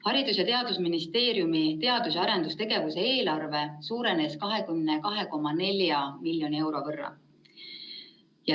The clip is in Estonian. Haridus‑ ja Teadusministeeriumi teadus‑ ja arendustegevuse eelarve suurenes 22,4 miljoni euro võrra.